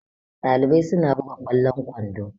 Ɗalibai suna buga ƙwallon kwando